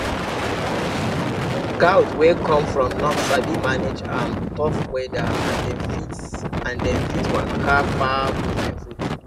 goat wey come from north sabi manage um tough weather and dem fit and dem fit waka far go find food